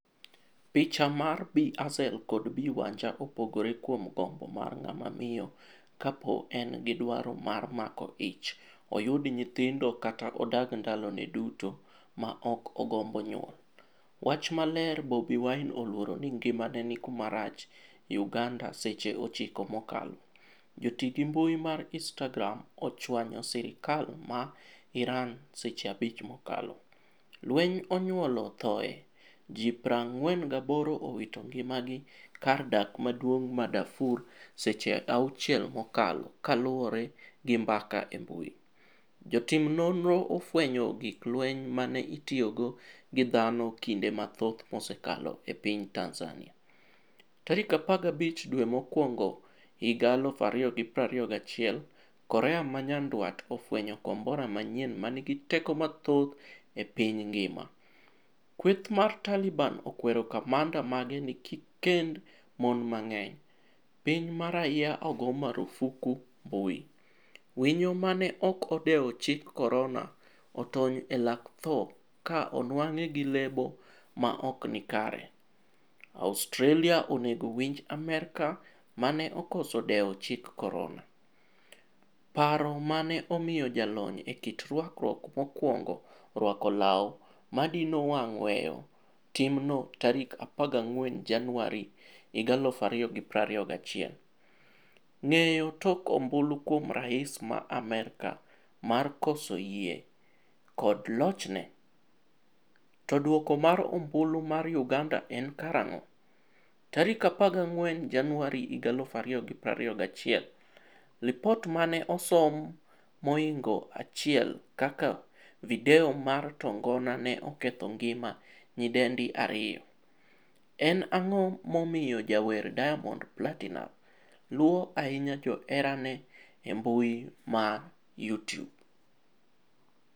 Picha mar Bi Hazel kod Bi Wanja opogore kuom gombo mar ng'ama miyo kapo en gi dwaro mar mako ich oyud nyithindo kata odag ndalone duto ma ok ogombo nyuol. Wach maler Bobi Wine oluoro ni ngimane ni kama rach' Uganda Seche 9 mokalo. Joti gi mbui mar Instagram ochwanyo sirkal ma Iran seche 5 mokalo. Lweny onyuolo thoe ji 48 owito ngima gi kar dak maduong' ma Darfur Seche 6 mokalo kaluore gi mbaka e mbui. Jotim nonro ofwenyo gig lweny mane itiyogo gi dhano kinde mathoth msekalo e piny Tanzania. Tarik 15 dwe mokwongohiga 2021 korea manyandwat ofwenyo kombora manyien manigi teko mathoth e piny ngima. Kweth mar Taliban okwero kamanda mage ni kikkend mon mang'eny. piny ma rais ogo marufuku mbui. Winyo mane ok odewo chik korona otony e lak tho ka onwang'e gi lebo maokni kare. Australia onego winj Amerka mane okoso dewo chik korona. paro mane omiyo jalony e kit rwakruok mokwongo rwako law madino wang' weyo timno tarik 14 januari 2021. Ng'eyo tok ombulu kuom rais ma Amerka mar koso yie kod lochne? To duoko mar ombulu mar uganda en karang'o?14 Januari 2021Lipot mane osom mohingo 1 kaka video mar tongona ne oketho ngima nyidendi 2. en ang'o momiyo jawer Diamond Platinumz luo ahinya joherane embui ma Youtube?